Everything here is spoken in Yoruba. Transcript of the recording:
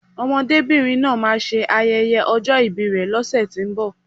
Ọmọdébìnrin náà máà ń ṣe ayẹyẹ ọjọ́ ìbi rè lọ́sẹ̀tínbọ̀